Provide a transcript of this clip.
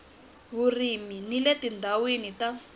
vurimi ni le tindhawini ta